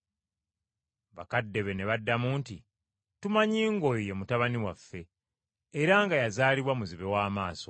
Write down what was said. Bakadde be ne baddamu nti, “Tumanyi ng’oyo ye mutabani waffe era nga yazaalibwa muzibe wa maaso.